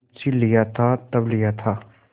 मुंशीलिया था तब लिया था